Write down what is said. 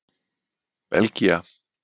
Belgía